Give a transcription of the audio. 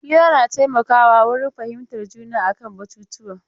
Hira na taimaka wa wurin fahimtar juna a kan batutuwa.